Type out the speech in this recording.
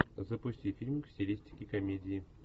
запусти фильм в стилистике комедии